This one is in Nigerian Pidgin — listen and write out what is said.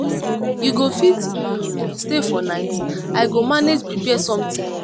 you go fit um stay for night? i go manage prepare something.